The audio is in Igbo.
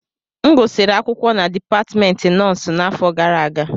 M gụsịrị akwụkwọ na Dipatmentị Nọọsụ n'afọ gara aga